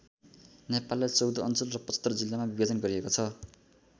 नेपाललाई १४ अञ्चल र ७५ जिल्लामा विभाजन गरिएको छ।